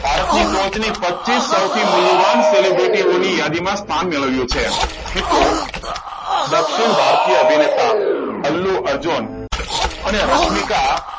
ભારતની ટોચની પચીસ સૌથી મૂલ્યવાન સેલિબ્રિટીઓની યાદીમાં સ્થાન મેળવી છે. મિત્રો દક્ષિણ ભારતીય અભિનેતા અલ્લુ અર્જુન અને રશ્મિકા,